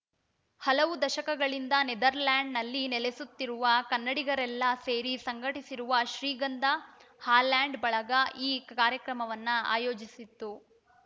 ಹಲವು ದಶಕಗಳಿಂದ ನೆದರ್‌ಲ್ಯಾಂಡ ನಲ್ಲಿ ನೆಲೆಸುತ್ತಿರುವ ಕನ್ನಡಿಗರೆಲ್ಲ ಸೇರಿ ಸಂಘಟಿಸಿರುವ ಶ್ರೀಗಂಧ ಹಾಲೆಂಡ ಬಳಗ ಈ ಕಾರ್ಯಕ್ರಮವನ್ನ ಆಯೋಜಿಸಿತ್ತು